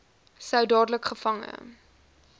sou dadelik gevange